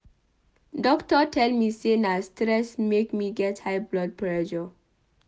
Doctor tell me sey na stress make me get high blood pressure.